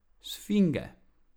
Sfinge.